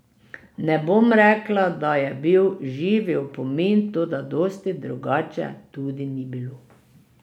Ne bom rekla, da je bil živi opomin, toda dosti drugače tudi ni bilo.